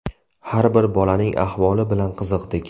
Har bir bolaning ahvoli bilan qiziqdik.